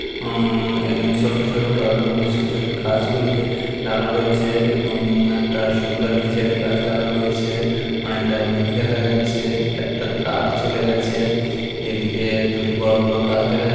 অ্যাঁ এখানে ছোট ছোট টবের মধ্যে ছোট ছোট গাছগুলিকে লাগানো রয়েছে এবং একটা সুন্দর ডিজাইন এর গাছ লাগানো রয়েছে অনেকটা মেঘ দেখা যাচ্ছে একটা তার চলে গেছে এদিকে দুটি বড় বড় গাছ দেখা যা--